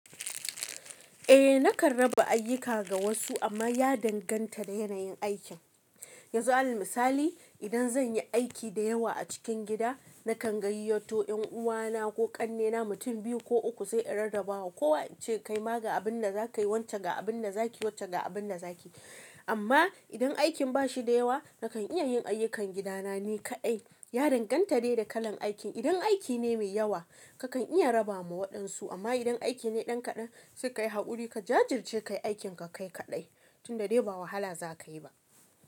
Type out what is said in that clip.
Eh nakan raba ayuka ga wasu amma ya danganta da yanayin aikin. Yanzu alal misali idan zan yi aiki da yawa a cikin gida, nakan gayyato ƴan uwana ko ƙannena mutum biyu ko uku sai in rarrabawa kowa in ce kai ma ga abin da za ka yi, wacce ga abin da za ki yi, wacce ga abin da za ki yi. Amma idan aikin ba shi da yawa nakan iya yin ayyukan gidana ni kaɗai. Ya danganta dai da kalan aikin. Idan aiki ne mai yawa kakan iya raba ma waɗansu amma idan aiki ne ɗan kaɗan sai ka yi haƙuri ka jajirce kai aikin ka kaɗai tunda dai ba wahala za ka yi ba.